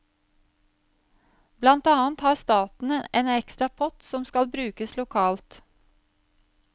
Blant annet har staten en ekstra pott som skal brukes lokalt.